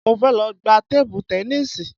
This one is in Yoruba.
Mo fẹ́ lọ gba tébú tẹníìsì